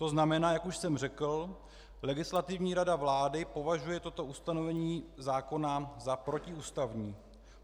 To znamená, jak už jsem řekl, Legislativní rada vlády považuje toto ustanovení zákona za protiústavní.